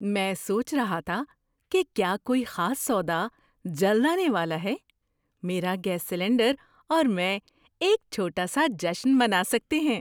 میں سوچ رہا تھا کہ کیا کوئی خاص سودا جلد آنے والا ہے۔ میرا گیس سلنڈر اور میں ایک چھوٹا سا جشن منا سکتے ہیں!